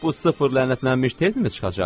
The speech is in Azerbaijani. Bu sıfır lənətlənmiş tez-tezmi çıxacaq?